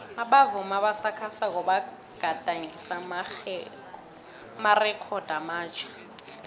abavumi abasakhasako bagadangise amarekhodo amatjha